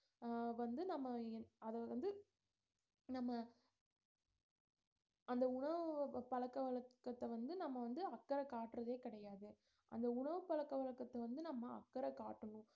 அஹ் வந்து நம்ம அத வந்து நம்ம அந்த உணவு பழக்கவழக்கத்தை வந்து நம்ம வந்து அக்கறை காட்டுறதே கிடையாது அந்த உணவு பழக்கவழக்கத்தை வந்து நம்ம அக்கறை காட்டணும்